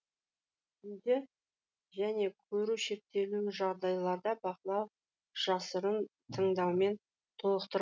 түнде және көру шектеулі жағдайларда бақылау жасырын тыңдаумен толықтыр